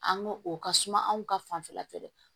An ko o ka suma anw ka fanfɛla feere